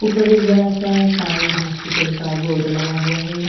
ऊपर एक बड़ा सा साई हॉस्पिटल का बोर्ड लगा हुआ है ।